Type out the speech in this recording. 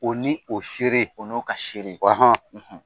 O ni o seere o n'o ka seenikoi; ;